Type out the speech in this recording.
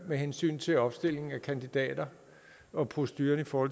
med hensyn til opstilling af kandidater og proceduren for